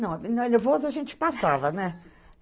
Não, na nervoso a gente passava, né?